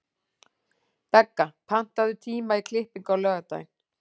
Begga, pantaðu tíma í klippingu á laugardaginn.